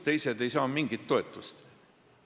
Teised ei saa mingit toetust.